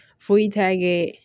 Foyi t'a kɛ